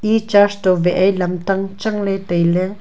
e church toh wah ei lamtang chang ley tai ley.